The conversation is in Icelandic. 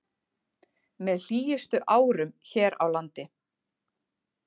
Með hlýjustu árum hér á landi